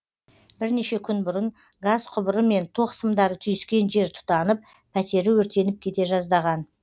бірнеше күн бұрын газ құбыры мен тоқ сымдары түйіскен жер тұтанып пәтері өртеніп кете жаздаған